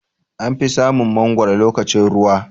Anfi samun mangwaro lokacin ruwa.